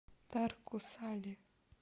тарко сале